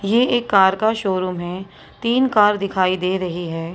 ये एक कार का शोरूम है तीन कार दिखाई दे रही है।